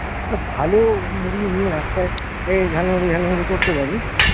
একটা ভালো মুড়ি নিয়ে রাস্তায় এই ঝালমুড়ি ঝালমুড়ি করতে পারি,